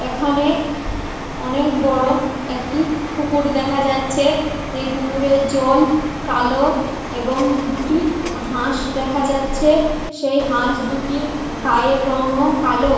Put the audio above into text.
এখানে অনেক বড় একটি পুকুর দেখা যাচ্ছে এই পুকুরের জ ল কালো এবং দুটি হাঁস দেখা যাচ্ছে সেই হাঁস দুটির গায়ের রং ও কালো।